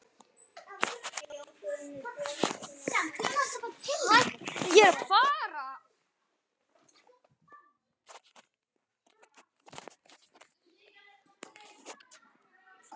Vaðið er yfir hina.